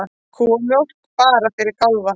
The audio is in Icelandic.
Kúamjólk bara fyrir kálfa